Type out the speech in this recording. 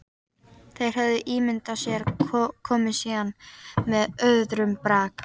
Þeir höfðu ímyndað sér komu sína með öðrum brag.